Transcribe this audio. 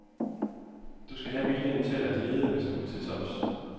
Du skal have viljen til at lide, hvis du vil til tops.